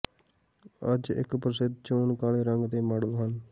ਅੱਜ ਇੱਕ ਪ੍ਰਸਿੱਧ ਚੋਣ ਕਾਲੇ ਰੰਗ ਦੇ ਮਾਡਲ ਹਨ